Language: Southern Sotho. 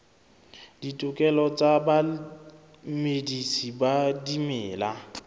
ditokelo tsa bamedisi ba dimela